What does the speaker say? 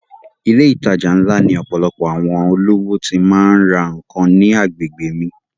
Ilé ìtajà ńlá ni ọ̀pọ̀lọpọ̀ àwọn olówó ti má ń ra nǹkan ní agbègbè mi